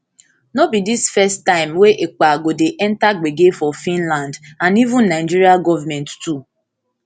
no be dis first time wey ekpa go dey enta gbege for finland and even nigerian govment too